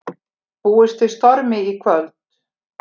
Búist við stormi í kvöld